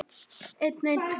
Það var ekki reynt.